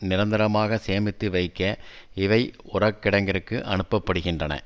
நிரந்தரமாக சேமித்து வைக்க இவை உரக்கிடங்கிற்கு அனுப்ப படுகின்றன